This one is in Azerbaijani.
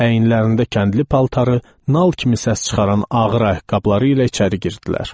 Əyinlərində kəndli paltarı, nal kimi səs çıxaran ağır ayaqqabıları ilə içəri girdilər.